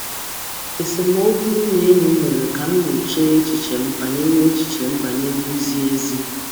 Esemokwu m na enyi m mere ka m nyochaa echiche m banyere izi ezi.